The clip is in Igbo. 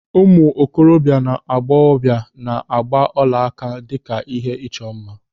Ụmụ okorobịa na agbọghọbịa na-agba ọlaaka n'aka dịka ihe ịchọ mma.